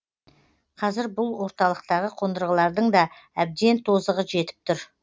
қазір бұл орталықтағы қондырғылардың да әбден тозығы жетіп тұр